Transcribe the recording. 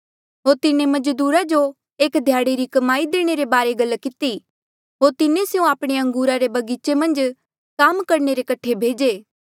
होर तिन्हें मजदूरा जो एक ध्याड़े री कमाई देणे रे बारे गल किती होर तिन्हें स्यों आपणे अंगूरा रे बगीचे मन्झ काम करणे रे कठे भेजे